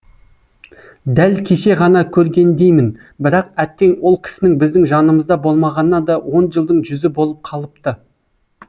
дәл кеше ғана көргендеймін бірақ әттең ол кісінің біздің жанымызда болмағанына да он жылдың жүзі болып қалыпты